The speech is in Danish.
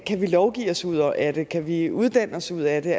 kan vi lovgive os ud af det kan vi uddanne os ud af det